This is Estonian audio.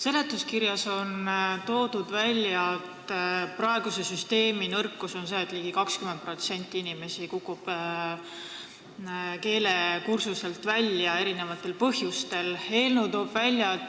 Seletuskirjas on välja toodud, et praeguse süsteemi nõrkus on see, et ligi 20% inimesi kukub erinevatel põhjustel keelekursustelt välja.